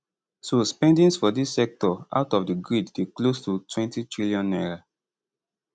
so spendings for dis sector out of the grid dey close to n20tn